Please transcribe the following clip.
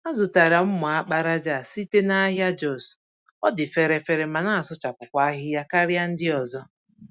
Azụtara mma àkpàràjà a site nahịa Jos, ọdị fèrè-fèrè ma nasụchapụkwa ahịhịa karịa ndị ọzọ.